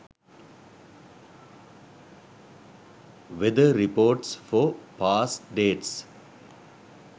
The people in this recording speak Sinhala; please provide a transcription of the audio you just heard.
weather reports for past dates